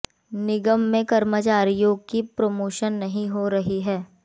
निगम में कर्मचारियों की प्रोमोशन नहीं हो रही है